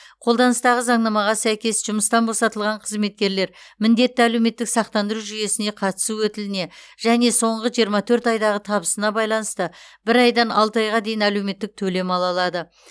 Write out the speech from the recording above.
қолданыстағы заңнамаға сәйкес жұмыстан босатылған қызметкерлер міндетті әлеуметтік сақтандыру жүйесіне қатысу өтіліне және соңғы жиырма төрт айдағы табысына байланысты бір айдан алты айға дейін әлеуметтік төлем ала алады